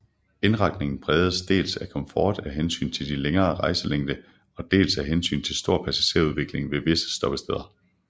Indretningen præges dels af komfort af hensyn til længere rejselængde og dels af hensyn til stor passagerudveksling ved visse stoppesteder